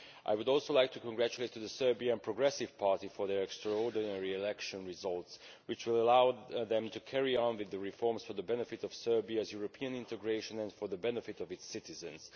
I would also like to congratulate the Serbian Progressive Party for their extraordinary election results, which will allow them to carry on with the reforms for the benefit of Serbia's European integration and for the benefit of its citizens.